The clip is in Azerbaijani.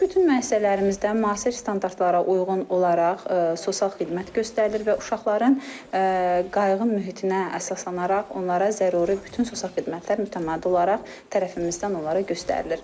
Bütün müəssisələrimizdə müasir standartlara uyğun olaraq sosial xidmət göstərilir və uşaqların qayğı mühitinə əsaslanaraq onlara zəruri bütün sosial xidmətlər mütəmadi olaraq tərəfimizdən onlara göstərilir.